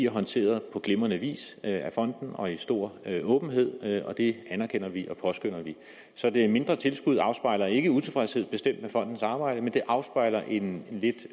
håndteret på glimrende vis af fonden og i stor åbenhed og det anerkender vi og det påskønner vi det mindre tilskud afspejler bestemt ikke utilfredshed med fondens arbejde men det afspejler en lidt